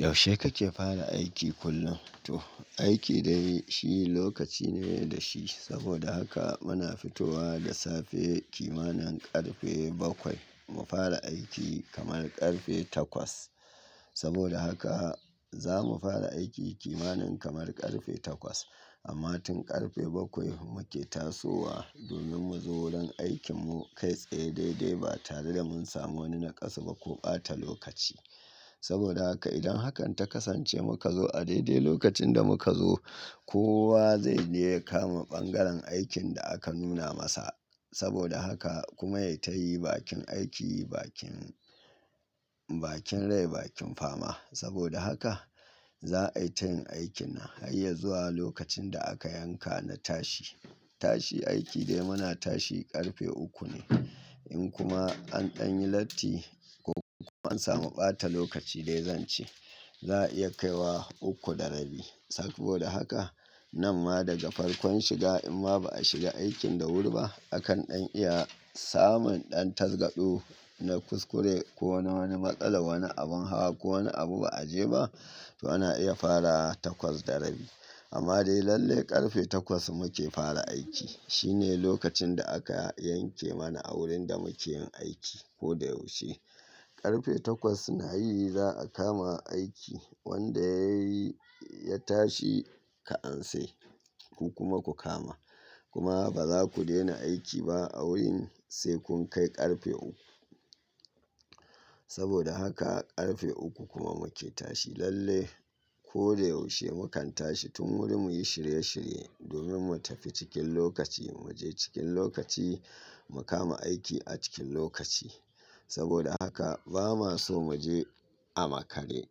Yaushe kake fara aiki kullum? To aiki dai shi lokaci ne dashi. Saboda haka muna fitowa da safe kimanin karfe bakwai mu fara aiki kamar karfe taƙwas. Saboda haka za mu fara aiki kimanin kamar karfe takwas amma tun karfe baƙwai muke tasowa domin muzo wurin aikin mu kai tsaye daidai ba tare da mun samu wani nakasu ba ko ɓata lokaci. Saboda haka idan hakan ta kasance muka zo a daidai lokacin da muka zo, kowa zaije ya kama bangaren aikin da aka nuna masa. Saboda haka kuma ya tayi bakin aiki, bakin, bakin rai bakin fama. Saboda haka za'ayi tayin aikin nan harya zuwa lokacin da aka yanka na tashi. Tashi aiki dai muna tashi karfe uku ne. In kuma an ɗanyi latti ko an samu ɓata lokaci dai zance za'a iya kaiwa uku da rabi. Saboda haka namma daga farkon shiga imma ba'a shiga aikin da wuri ba akan ɗan iya samun ɗan tasgaɗo na kuskure ko na wani matsalar wani abin hawa ko wani abu ba'aje ba, to ana iya fara taƙwas da rabi. Amma dai lalle karfe takwas muke fara aiki. Shine lokacin da aka yanke mana a wurin da muke yin aiki koda yaushe. Karfe takwas nayi za'a kama aiki wanda yayi ya tashi ka'anse ku kuma ku kama. Kuma ba za ku daina aiki ba a wurin sai kun kai karfe uku. Saboda haka karfe uku kuma muke tashi lalle. Koda yaushe mukan tashi tun wuri muyi shirye shirye domin mu tafi cikin lokaci, muje cikin lokaci, mu kama aiki a cikin lokaci. Saboda haka ba ma so mu je a makare.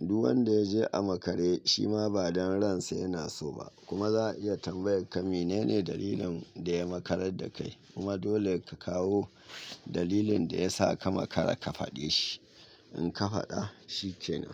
Duk wanda yaje a makare shima ba don ransa yana soba kuma za'a iya tambayar ka mene ne dalilin daya makar dakai kuma dole ka kawo dalilin da ya sa ka makara ka faɗe shi. Inka faɗa shikenan.